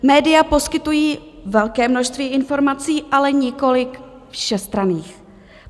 Média poskytují velké množství informací, ale nikoliv všestranných.